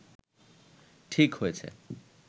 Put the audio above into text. ঠিক হয়েছে